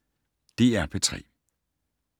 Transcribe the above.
DR P3